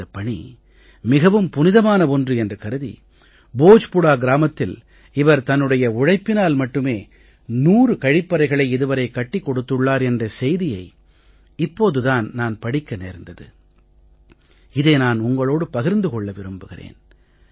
இந்தப் பணி மிகவும் புனிதமான ஒன்று என்று கருதி போஜ்பூரா கிராமத்தில் இவர் தன்னுடைய உழைப்பினால் மட்டுமே நூறு கழிப்பறைகளை இது வரை கட்டிக் கொடுத்துள்ளார் என்ற செய்தியை இப்போது தான் நான் படிக்க நேர்ந்தது இதை நான் உங்களோடு பகிர்ந்து கொள்ள விரும்புகிறேன்